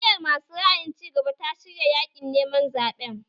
Jam’iyar masu ra'ayin cigaba ta shirya yaƙin neman zaɓen